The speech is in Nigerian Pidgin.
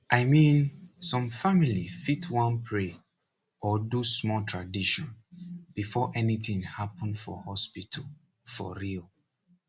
i mean some family fit wan pray or do small tradition before anything happen for hospital for real